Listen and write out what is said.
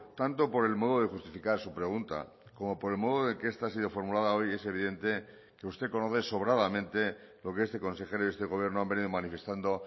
tanto por el modo de justificar su pregunta como por el modo de que esta ha sido formulada hoy es evidente que usted conoce sobradamente lo que este consejero y este gobierno han venido manifestando